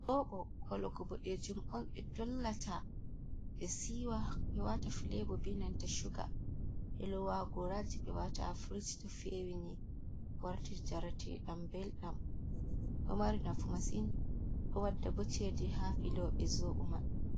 Zobo hologo boɗejum on ɓe dollata ɓe siwa ɓe wata filebo benanta chuga ɓelowa ha goraji ɓe wata ha frut to fewini warti jaratedam belɗam ɗo marinafu massin ɗo wadda bo cede ha filoɓe zobo man.